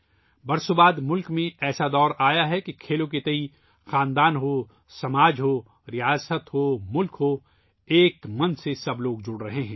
سالوں کے بعد ملک میں ایسا دور آیا ہے کہ چاہے وہ ایک خاندان ہو ، ایک معاشرہ ہو ، ایک ریاست ہو ، ایک قوم ہو تمام لوگ ایک جذبے کے ساتھ جڑ رہے ہیں